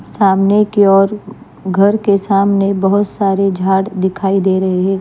सामने की और घर के सामने बहुत सारे झाड़ दिखाई दे रहे हैं।